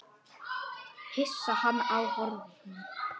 Hún horfði á hann hissa.